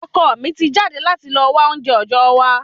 Ọkọ mi ti jáde láti lọ wa ounjẹ ojọ wa